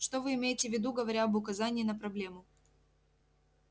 что вы имеете в виду говоря об указании на проблему